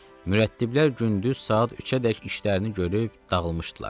Mürəttiblər gündüz saat 3-ədək işlərini görüb dağılmışdılar.